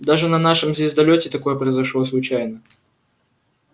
даже на нашем звездолёте такое произошло случайно